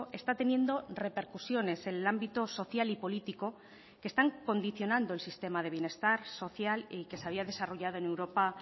está teniendo repercusiones en el ámbito social y político que están condicionando el sistema de bienestar social y que se había desarrollado en europa